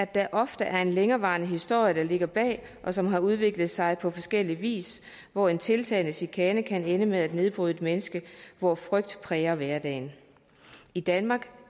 der ofte er en længerevarende historie der ligger bag og som har udviklet sig på forskellig vis hvor en tiltagende chikane kan ende med at nedbryde et menneske hvor frygt præger hverdagen i danmark